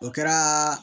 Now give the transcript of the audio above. O kɛra